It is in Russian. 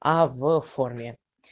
а в форме